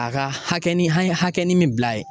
A ka hakɛnin an ye hakɛnin min bila a ye